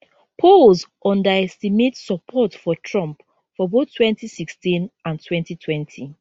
polls underestimate support for trump for both twenty sixteen and twenty twenty